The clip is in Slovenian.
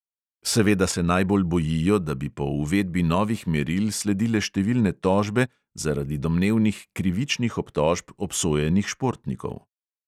Seveda se najbolj bojijo, da bi po uvedbi novih meril sledile številne tožbe zaradi domnevnih krivičnih obtožb obsojenih športnikov.